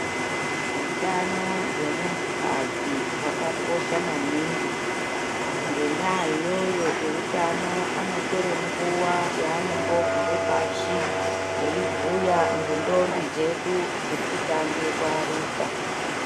Utano hwemuntu kadzi hwakakosha maningi ngenda iyoyo eutano anotire nguwa yanombogare pashi eibhuya ngendombi dzedu dzirikutange kuyaruka.